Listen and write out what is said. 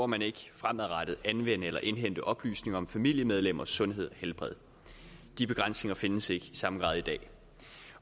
man ikke fremadrettet anvende eller indhente oplysninger om familiemedlemmers sundhed og helbred de begrænsninger findes ikke i samme grad i dag